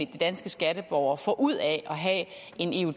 de danske skatteborgere får ud af at have